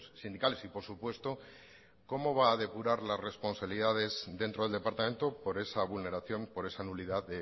sindicales y por supuesto cómo va a depurar las responsabilidades dentro del departamento por esa vulneración por esa nulidad